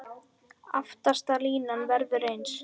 Aftasta línan verður eins.